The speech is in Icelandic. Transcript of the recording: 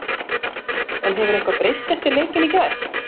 En hefur eitthvað breyst eftir leikinn í gær?